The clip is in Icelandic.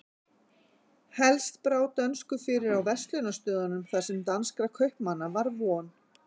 Helst brá dönsku fyrir á verslunarstöðunum þar sem danskra kaupmanna var von.